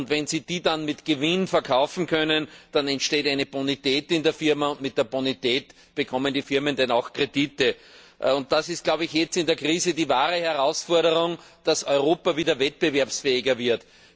Wenn sie die dann mit Gewinn verkaufen können, dann entsteht eine Bonität in der Firma, und mit der Bonität bekommen die Firmen dann auch Kredite. Das ist jetzt in der Krise die wahre Herausforderung Dass Europa wieder wettbewerbsfähiger wird.